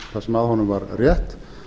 að honum var rétt